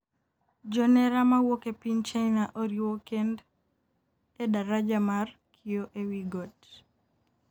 jonera ma wuok e piny China oriwo kend e daraja mar kioo e wi got